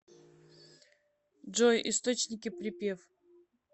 джой источники припев